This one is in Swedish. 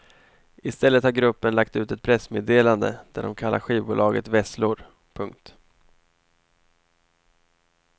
Istället har gruppen lagt ut ett pressmeddelande där de kallar skivbolaget vesslor. punkt